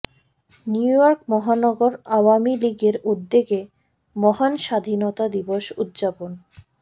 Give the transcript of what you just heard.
New York মহানগর আওয়ামী লীগের উদ্যেগে মহান স্বাধীনতা দিবস উদযাপন